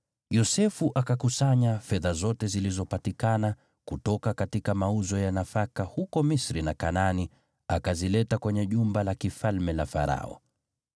Yosefu akakusanya fedha zote zilizopatikana kutoka mauzo ya nafaka huko Misri na Kanaani, akazileta kwenye jumba la kifalme la Farao.